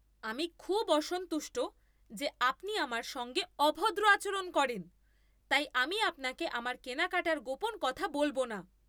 আমি খুব অসন্তুষ্ট যে আপনি আমার সঙ্গে অভদ্র আচরণ করেন, তাই আমি আপনাকে আমার কেনাকাটার গোপন কথা বলব না।